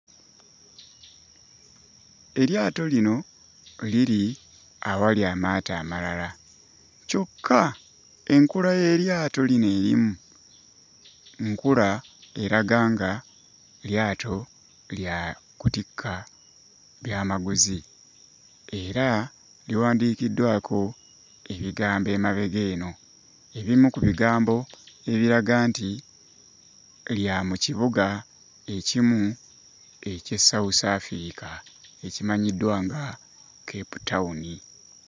Eryato lino liri awali amaato amalala kyokka enkula y'eryato lino erimu nkula eraga nga lyato lya kutikka byamaguzi era liwandiikiddwako ebigambo emabega eno ebimu ku bigambo ebiraga nti lya mu kibuga ekimu eky'e South Africa ekimanyiddwa nga Cape town.